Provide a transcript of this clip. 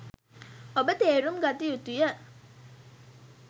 ඔබ තේරුම් ගත යුතු ය.